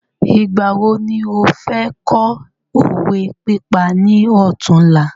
Ìgbà wo ni ọ fẹ kọ́ òwe pípa ni ọtún la?